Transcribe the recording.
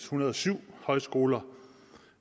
hundrede og syv højskoler